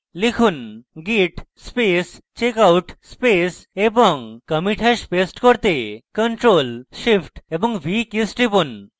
লিখুন: git space checkout space এবং commit hash paste করতে ctrl + shift + v কীস টিপুন